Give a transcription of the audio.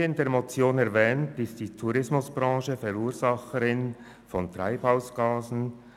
Wie in der Motion erwähnt, ist die Tourismusbranche Verursacherin von Treibhausgasen.